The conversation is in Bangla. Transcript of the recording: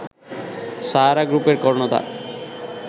সাহারা গ্রুপের কর্ণধার